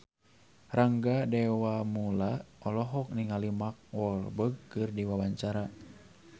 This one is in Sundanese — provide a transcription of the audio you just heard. Rangga Dewamoela olohok ningali Mark Walberg keur diwawancara